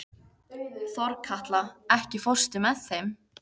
Þorkatla, ekki fórstu með þeim?